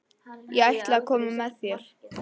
Ég ætla að koma með þér!